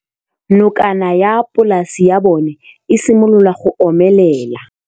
Nokana ya polase ya bona, e simolola go omelela.